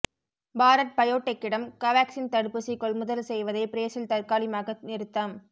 பாரத் பயோடெக்கிடம் கோவாக்சின் தடுப்பூசி கொள்முதல் செய்வதை பிரேசில் தற்காலிகமாக நிறுத்தம்